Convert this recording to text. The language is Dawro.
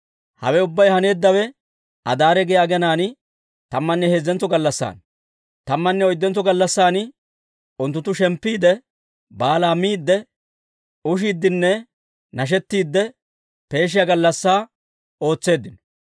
Hawe ubbay haneeddawe Adaare giyaa aginaan tammanne heezzentso gallassaana; tammanne oyddentso gallassan unttunttu shemppiide, baalaa miidde, ushiiddenne nashettiidde peeshiyaa gallassaa ootseeddino.